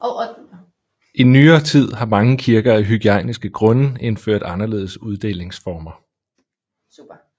I nyere tid har mange kirker af hygiejniske grunde indført anderledes uddelingsformer